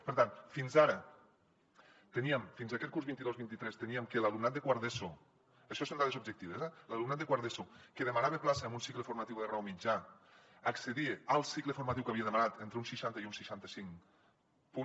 per tant fins ara teníem fins aquest curs vint dos vint tres teníem que l’alumnat de quart d’eso això són dades objectives que demanava plaça en un cicle formatiu de grau mitjà accedia al cicle formatiu que havia demanat entre un seixanta i un seixanta cinc per cent